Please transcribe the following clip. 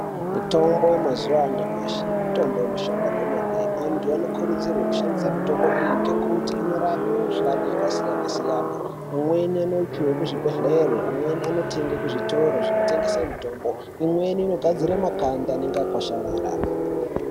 Mitombo yemazuva anyamashi mitombo inoshanda kwemene antu wanokurudzirwe kushandise mitombo iyi ngekuti inorape mikuhlani yakasiyana siyana amweni anoti ekuzvibhedhlere, amweni anotoende kuzvitoro zvinotengese mitombo, imweni inogadzire makanda anenge akwasharara.